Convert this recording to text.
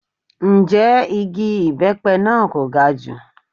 Ǹjẹ́ igi ibepe náà kò ga jù?